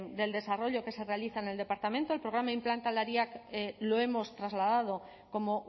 del desarrollo que se realiza en el departamento el programa implantalariak lo hemos trasladado como